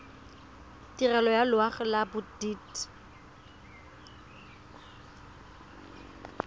tirelo ya loago ya bodit